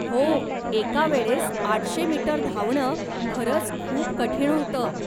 हो, एकावेळेस आठशे मीटर धावणं खरंच खूप कठीण होतं.